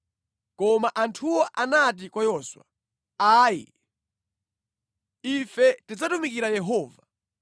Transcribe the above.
Koma anthuwo anati kwa Yoswa, “Ayi! Ife tidzatumikira Yehova.”